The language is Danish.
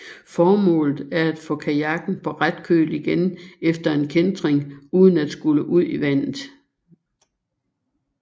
Formålet er at få kajakken på ret køl igen efter en kæntring uden at skulle ud i vandet